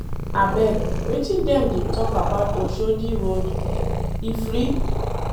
Abeg, wetin dem dey talk about Oshodi road? E free?